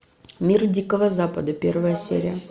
мир дикого запада первая серия